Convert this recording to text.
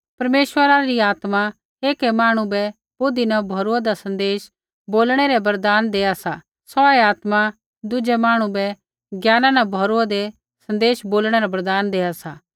परमेश्वरा री आत्मा ऐकै मांहणु बै बुद्धि न भौरुआन्दा सन्देश बोलणै रा वरदान देआ सा सौऐ आत्मा दुज़ै मांहणु बै ज्ञाना न भौरुआन्दा सन्देश बोलणै रा वरदान देआ सा